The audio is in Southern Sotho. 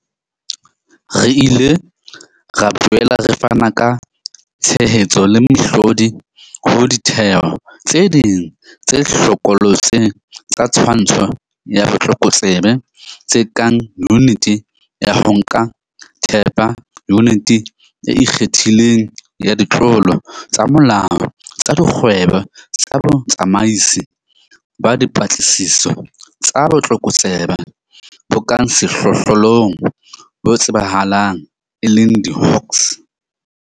Re ile ra boela re fana ka tshehetso le mehlodi ho ditheo tse ding tse hlokolotse tsa twantsho ya botlokotsebe tse kang Yuniti ya ho Nka Thepa, Yuniti e Ikgethileng ya Ditlolo tsa Molao tsa Dikgwebo le Botsamaisi ba Dipatlisiso tsa Botlokotsebe bo ka Sehlohlolong, bo tsebahalang e le diHawks.